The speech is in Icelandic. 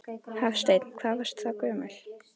Hafsteinn: Hvað varstu þá gömul?